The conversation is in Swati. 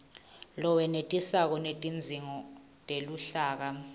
lowenetisako wetidzingo teluhlaka